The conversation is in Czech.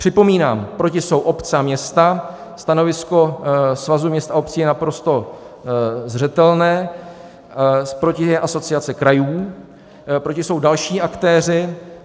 Připomínám, proti jsou obce a města, stanovisko Svazu měst a obcí je naprosto zřetelné, proti je Asociace krajů, proti jsou další aktéři.